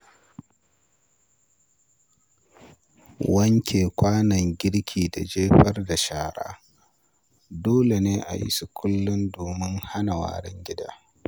Wanke kwanon girki da jefar da shara dole ne a yi su kullum domin hana warin gida.